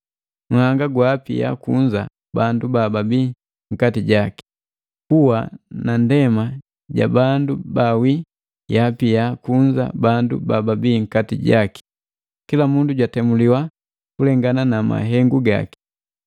Nhanga gwaapia kunza bandu bababii nnkati jaki. Kuwa na ndema ja bandu baawi yaapia kunza bandu bababia nkati jaki. Kila mundu jwatemuliwa kulengana na mahengu gaki.